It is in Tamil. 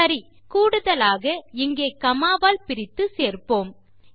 சரி கூடுதலாக இங்கே காமா வால் பிரித்து சேர்ப்போம்